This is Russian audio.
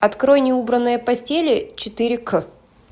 открой неубранные постели четыре к